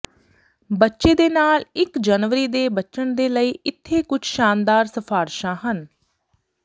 ਬੱਚੇ ਦੇ ਨਾਲ ਇੱਕ ਜਨਵਰੀ ਦੇ ਬਚਣ ਦੇ ਲਈ ਇੱਥੇ ਕੁਝ ਸ਼ਾਨਦਾਰ ਸਿਫ਼ਾਰਿਸ਼ਾਂ ਹਨ